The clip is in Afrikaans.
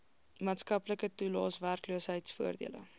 maatskaplike toelaes werkloosheidvoordele